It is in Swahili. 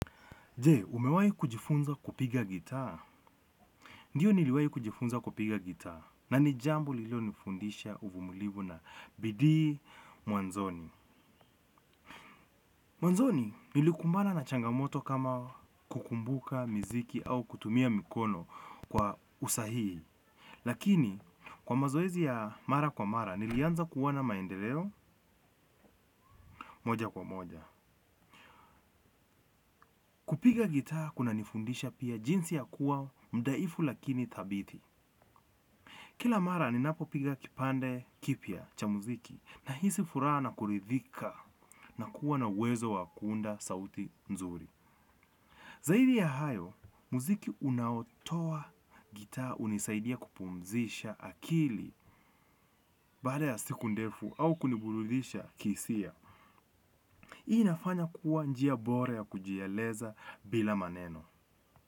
Je, umewahi kujifunza kupiga gitaa? Ndiyo niliwahi kujifunza kupiga gitaa. Na ni jambo lililo nifundisha uvumilivu na bidii. Mwanzoni. Mwanzoni, nilikumbana na changamoto kama kukumbuka, miziki au kutumia mikono kwa usahihi. Lakini, kwa mazoezi ya mara kwa mara nilianza kuona maendeleo moja kwa moja. Kupiga gitaa kuna nifundisha pia jinsi ya kuwa mdhaifu lakini thabiti. Kila mara ninapo piga kipande kipya cha muziki nahisi furaha na kuridhika na kuwa na uwezo wa kuunda sauti nzuri. Zaidi ya hayo muziki unaotowa gitaa hunisaidia kupumzisha akili baada ya siku ndefu au kuniburudisha kihisia. Hii nafanya kuwa njia bora ya kujieleza bila maneno.